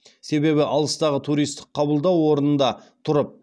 себебі алыстағы туристік қабылдау орнында тұрып